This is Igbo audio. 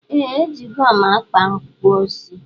Ee ejigom mkpa kpụọ isi.